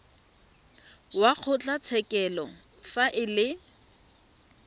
wa kgotlatshekelo fa e le